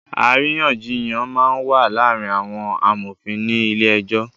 Àríyànjíyán má n wá làárin áwòn àmófin ni ilé èjò